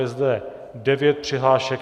Je zde devět přihlášek.